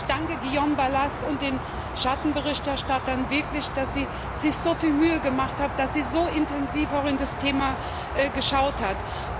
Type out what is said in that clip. Ich danke Guillaume Balas und den Schattenberichterstattern wirklich, dass sie sich so viel Mühe gemacht haben, dass sie so intensiv auch in das Thema geschaut haben.